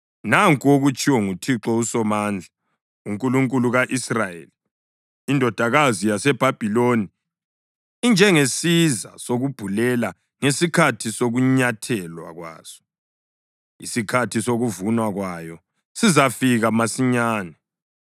Nanku okutshiwo nguThixo uSomandla, uNkulunkulu ka-Israyeli: “Indodakazi yaseBhabhiloni injengesiza sokubhulela ngesikhathi sokunyathelwa kwaso; isikhathi sokuvunwa kwayo sizafika masinyane.”